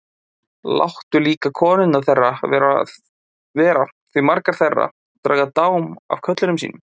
Láttu líka konurnar þeirra vera því margar þeirra draga dám af körlum sínum.